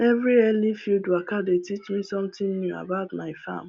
every early field waka dey teach me something new about my farm